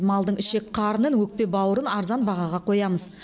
малдың ішек қарнын өкпе бауырын арзан бағаға қоямыз